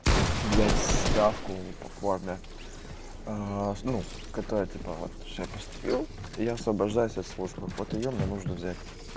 взять справку по форме ну которая типа вот всё я поступил я освобождаюсь от службы вот её мне нужно взять